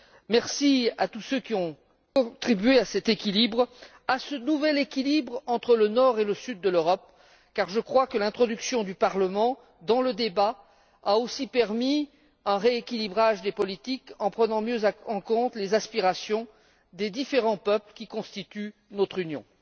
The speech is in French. Je remercie tous ceux qui ont contribué à cet équilibre, à ce nouvel équilibre entre le nord et le sud de l'Europe, car je crois que l'introduction du Parlement dans le débat a aussi permis un rééquilibrage des politiques en prenant mieux en compte les aspirations des différents peuples qui constituent notre Union.